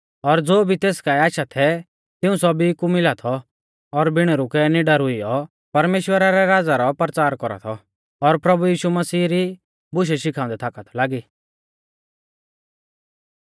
और ज़ो भी तेस काऐ आशा थै तिऊं सौभी कु मिला थौ और बिण रुकै निडर हुइयौ परमेश्‍वरा रै राज़ा रौ परचार कौरा थौ और प्रभु यीशु मसीह री बुशै शिखाउंदै थाकौ लागी